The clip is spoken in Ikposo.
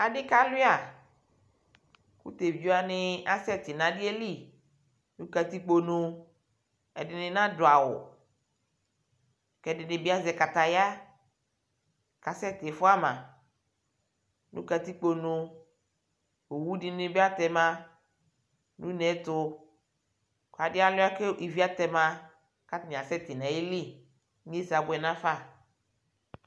Adikalʊa ku tevidzewaɲi asɛti ɲu adiyɛli ɲu katikpoɲʊ ɛdiɲi aɲaduawʊ kediɲi azɛ kataya kasɛ tiƒuama ɲʊ katikpoɲʊ owu diɲɩbɩ atema ɲʊ ɲetu adialua ke ivi atɛma akasetiɲayɩli iŋyiese abuɛ ɲafa